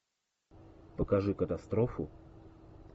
покажи катастрофу